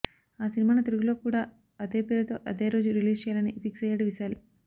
ఆ సినిమాను తెలుగులో కూడా అదే పేరుతో అదే రోజు రిలీజ్ చేయాలని ఫిక్సయ్యాడు విశాల్